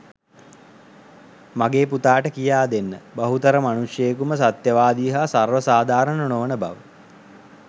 මගේ පුතාට කියාදෙන්න බහුතර මනුෂ්‍යයෙකුම සත්‍යවාදී හා සර්ව සාධාරණ නොවන බව.